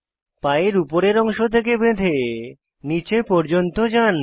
পায়ের উপরের অংশ থেকে বেঁধে নীচে পর্যন্ত যান